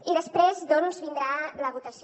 i després vindrà la votació